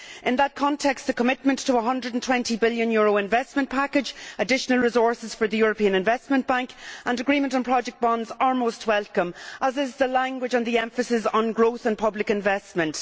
In that context the commitment to a EUR 120 billion investment package, additional resources for the European Investment Bank and agreement on project bonds are most welcome, as is the language and the emphasis on growth and public investment.